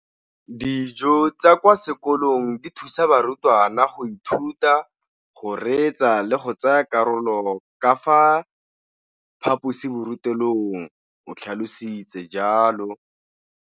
Dijo tsa kwa sekolong dithusa barutwana go ithuta, go reetsa le go tsaya karolo ka fa phaposiborutelong, o tlhalositse jalo.